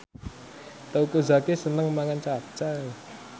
Teuku Zacky seneng mangan capcay